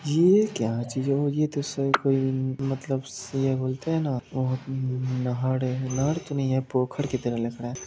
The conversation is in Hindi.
यह क्या चीज होती यह तो मलतब से यह बोलते है यह ना नहर है नहर तो नहीं है पोखर की तरह लगा है।